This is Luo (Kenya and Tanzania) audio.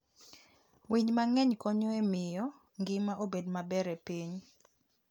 Winy mang'eny konyo e miyo ngima obed maber e piny.